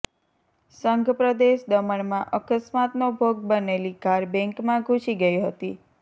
સંઘપ્રદેશ દમણમાં અકસ્માતનો ભોગ બનેલી કાર બેન્કમાં ઘુસી ગઈ હતી